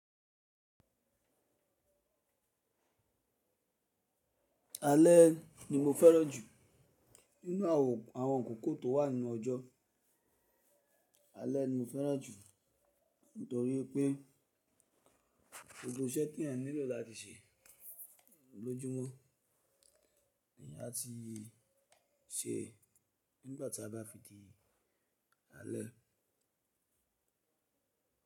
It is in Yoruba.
Alẹ́ ni mo fẹ́ràn jù nínú àwọn àkókó tó wà nínú ọjọ́. Alẹ́ ni mo fẹ́ràn jù nítorí pé gbogbo iṣẹ́ tí ẹ nílò láti ṣe lójúmọ́ ni a ti ṣe nígbàtí a bá fi di alẹ́.